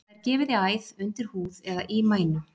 Það er gefið í æð, undir húð eða í mænu.